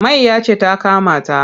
Mayya ce ta kama ta.